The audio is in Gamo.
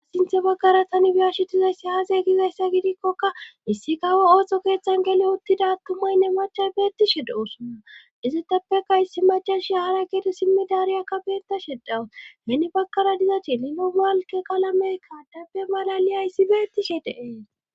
Sinthe baggara tani biyashitizayssi aazey gizayssa gidikkokka issi gawo ooso keeththan gele uttida attumaynne machas beettishe doossonna iziteppeka issi macashi hara gede simmi daariya kabeta shedawus nenni bagkara diza chililo malke qalamey kaadapbe malali ayssi beettishe deees.